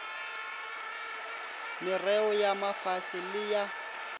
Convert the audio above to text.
merreo ya mafase le ya